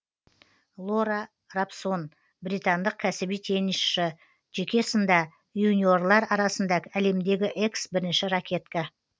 лора робсон британдық кәсіби теннисшы жеке сында юниорлар арасында әлемдегі экс бірінші ракетка